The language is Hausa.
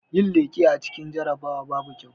Yin leƙe a cikin jarabawa babu kyau